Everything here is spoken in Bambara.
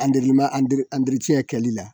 An delilen ma kɛlɛli la